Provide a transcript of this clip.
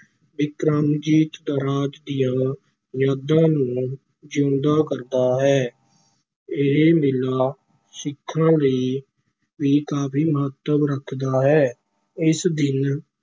ਬਿਕਰਮਾਜੀਤ ਰਾਜ ਦੀਆਂ ਯਾਦਾਂ ਨੂੰ ਜਿਉਂਦਾ ਕਰਦਾ ਹੈ, ਇਹ ਮੇਲਾ ਸਿੱਖਾਂ ਲਈ ਵੀ ਕਾਫੀ ਮਹੱਤਵ ਰੱਖਦਾ ਹੈ, ਇਸ ਦਿਨ